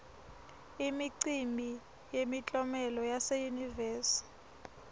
imicimbi yemiklomelo yase yunivesi